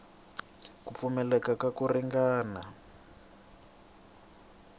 ku pfumaleka ka ku ringana